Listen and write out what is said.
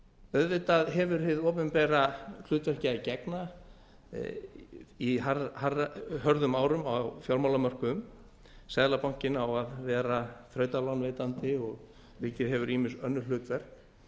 auðvitað hefur hið opinbera hlutverki að gegna í hörðum árum og á fjármálamörkuðum seðlabankinn á að vera þrautalánveitandi og ríkið hefur ýmis önnur hlutverk